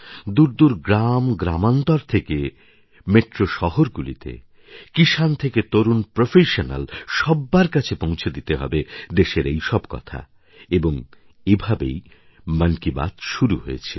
দূর দূর গ্রাম থেকে মেট্রো শহরগুলিতে কিষাণ থেকে তরুণ প্রফেশন্যাল সব্বার কাছে পৌঁছে দিতে হবে দেশের এই সব কথা এবং এভাবেই মন কি বাত করা শুরু হয়েছিল